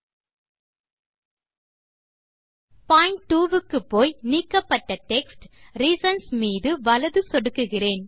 point 2 க்குப்போய் நீக்கப்பட்ட text reasons மீது வலது சொடுக்குகிறேன்